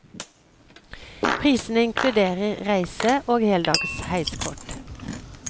Prisene inkluderer reise og heldags heiskort.